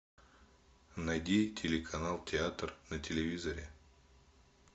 найди телеканал театр на телевизоре